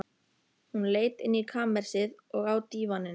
Hún leit inn í kamersið, og á dívaninn.